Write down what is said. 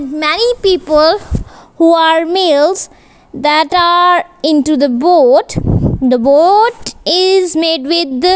many people who are males that are into the boat the boat is made with the --